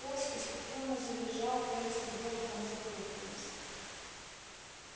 пёс исступлённо завизжал дверцы с грохотом захлопнулись